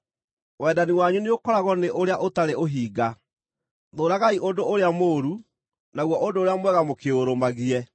Wendani wanyu nĩũkoragwo nĩ ũrĩa ũtarĩ ũhinga. Thũũragai ũndũ ũrĩa mũũru; naguo ũndũ ũrĩa mwega mũkĩũrũmagie.